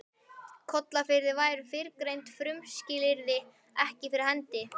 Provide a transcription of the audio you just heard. Kollafirði væru fyrrgreind frumskilyrði ekki fyrir hendi.